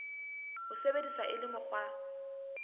bo sebediswa e le mokgwa